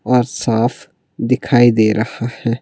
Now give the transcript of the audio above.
और साफ दिखाई दे रहा है।